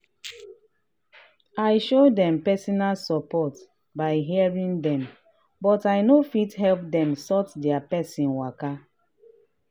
i show dem support by hearing dem but i no fit help dem sort their person waka.